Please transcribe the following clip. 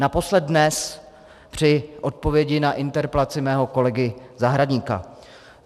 Naposled dnes při odpovědi na interpelaci mého kolegy Zahradníka.